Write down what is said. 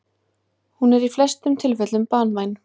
Hún er í flestum tilfellum banvæn.